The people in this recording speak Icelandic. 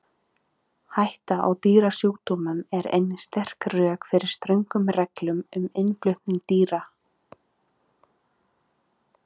Vetrarbrautin okkar Alheimurinn Stjörnuskoðun.